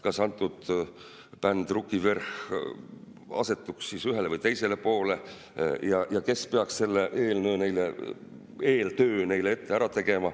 Kas antud bänd, Ruki Vverh!, asetuks ühele või teisele poole ja kes peaks selle eeltöö neile ära tegema?